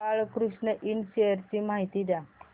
Balkrishna Ind shares ची माहिती द्या